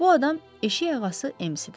Bu adam eşik ağası EMC-dir.